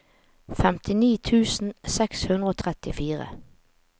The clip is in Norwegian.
femtini tusen seks hundre og trettifire